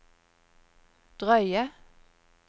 drøye